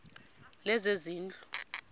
lezezindlu